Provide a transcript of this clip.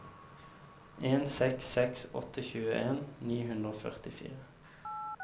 en seks seks åtte tjueen ni hundre og førtifire